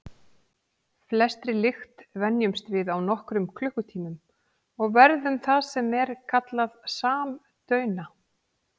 Flestri lykt venjumst við á nokkrum klukkutímum og verðum það sem er kallað samdauna.